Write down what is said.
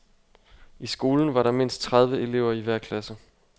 I skolen var der mindst tredive elever i hver klasse.